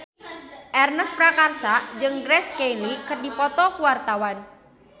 Ernest Prakasa jeung Grace Kelly keur dipoto ku wartawan